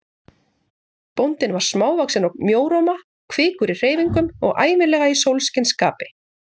Bóndinn var smávaxinn og mjóróma, kvikur í hreyfingum og ævinlega í sólskinsskapi.